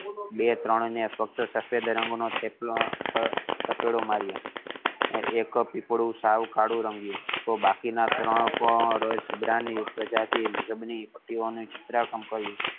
બે ત્રણ ને ફક્ત સફેદ રંગ નો અને એક પીપળું સૌ કાળું રંગિયું બાકી ના ત્રણ પણ ઝીબ્રા ની પ્રજાતિ હતી.